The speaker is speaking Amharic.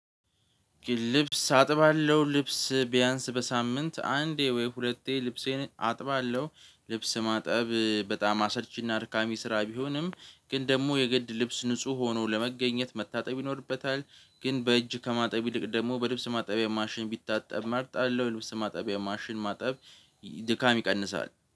ልብስ አጥባለሁ ልብስ ቢያንስ በሳምንት አንዴ ወይ ሁለቴ ልብሴን አጥባለሁ። ልብስ ማጠብ በጣም አሰልቺና አድካሚ ስራ ቢሆንም ግን ደግሞ የግድ ልብስ ንጹህ ሆኖ ለመገኘት መታጠብ ይኖርበታል። ግን በእጅ ከማጠብ ይልቅ ደግሞ በልብስ ማጠቢያ ማሽን ቢታጠብ መርጣለሁ። የልብስ ማጠቢያ ማሽን ማጠብ ድካም ይቀንሳል።